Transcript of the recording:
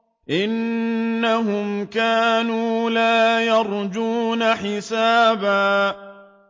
إِنَّهُمْ كَانُوا لَا يَرْجُونَ حِسَابًا